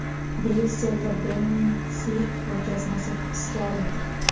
Bryusselda Benksi ko‘rgazmasi hibsga olindi.